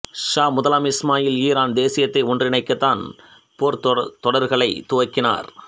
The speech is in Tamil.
ஷா முதலாம் இஸ்மாயில் ஈரான் தேசியத்தை ஒன்றிணைக்க தன் போர்த் தொடர்களைத் துவக்கினார்